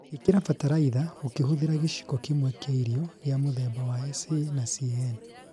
Īkĩra bataraitha ũkĩhũthĩra gĩciko kĩmwe kĩa irio gĩa mũthemba wa SA na CAN